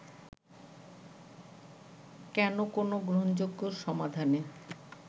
কেন কোন গ্রহণযোগ্য সমাধানে